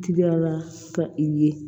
Juguya la ka i ye